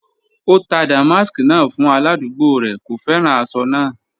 O tà dàmàsk náà fún aládùgbò rẹ, kò fẹ́ran àṣọ náà.